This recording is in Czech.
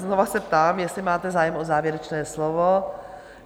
Znova se ptám, jestli máte zájem o závěrečné slovo?